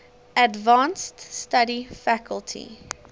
advanced study faculty